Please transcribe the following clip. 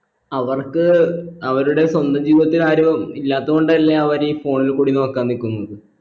അവർക്ക് അവരുടെ സ്വന്തം ജീവിതത്തിൽ ആരും ഇല്ലാത്തത് കൊണ്ടല്ലേ അവരീ phone ലെ കൂടി നോക്കാൻ നിക്കുന്നത്